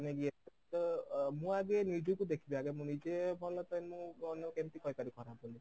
ମାନେ ଏତେ ତ ମୁଁ ଆଗେ ନିଜକୁ ଦେଖିବି ଆଗେ ମୁଁ ନିଜେ ଭଲ then ମୁଁ ଅନ୍ୟ କୁ କେମିତି କହିପାରିବି ଖରାପ ବୋଲି